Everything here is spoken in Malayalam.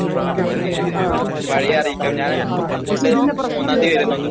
ഓക്കേ ഓക്കേ അറിയിക്കാം ഞാൻ മൂന്നാം തീയതി വരുന്നുണ്ട്